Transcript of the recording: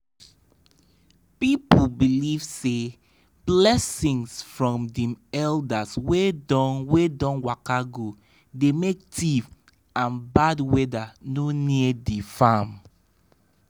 people believe say blessing from dem elders wey don wey don waka go dey make thief and bad weather no near the farm.